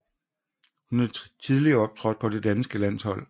Hun har tidligere optrådt på det danske landshold